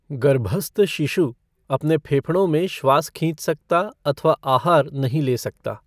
गर्भस्थ शिशु अपने फेफड़ों में श्वास खींच सकता अथवा आहार नहीं ले सकता।